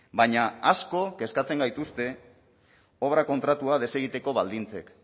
baina asko kezkatzen gaituzte obra kontratua desegiteko baldintzek